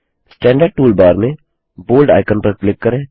standard toolbar में bold icon पर click करें